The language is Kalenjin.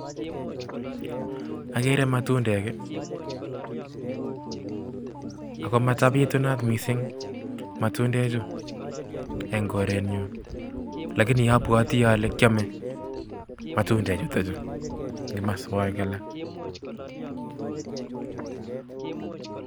Agere matundek, ako matabitunat missing matundechu eng' korenyu lakini abwoti ale kiame matundek chutok chu eng' kimaswogek alak.